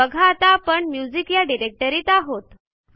बघा आता आपण म्युझिक या डिरेक्टरीत आहोत